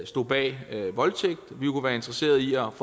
stod bag voldtægt vi kunne være interesseret i at